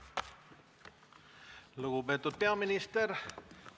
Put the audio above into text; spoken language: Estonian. Lugupeetud peaminister!